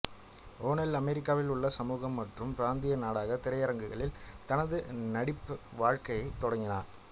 O'Neill அமெரிக்காவில் உள்ள சமூகம் மற்றும் பிராந்திய நாடக திரையரங்கில் தனது நடிப்பு வாழ்க்கையைத் தொடங்கினார்